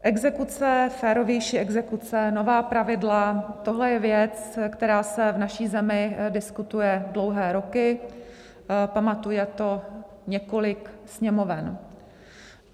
Exekuce, férovější exekuce, nová pravidla - tohle je věc, která se v naší zemi diskutuje dlouhé roky, pamatuje to několik Sněmoven.